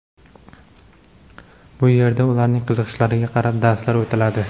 Bu yerda ularning qiziqishlariga qarab darslar o‘tiladi.